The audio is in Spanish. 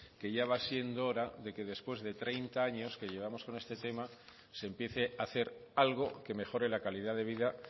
que ya va siendo hora que después de treinta años que llevamos con este tema se empiece hacer algo que mejore la calidad de vida